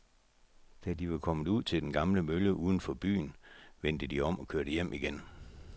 Da de var kommet ud til den gamle mølle uden for byen, vendte de om og kørte hjem igen.